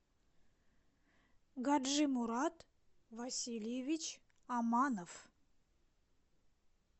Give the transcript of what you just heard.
гаджимурад васильевич аманов